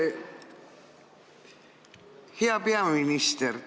Hea peaminister!